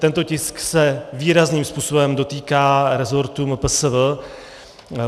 Tento tisk se výrazným způsobem dotýká resortu MPSV.